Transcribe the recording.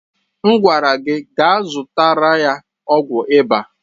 Mgwara gi gaa zụtara ya ọgwụ ịba!